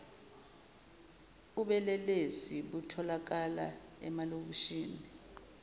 ubelelesi butholakala emalokishini